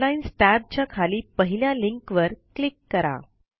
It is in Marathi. हेडलाईन्स tab च्या खाली पहिल्या लिंकवर क्लिक करा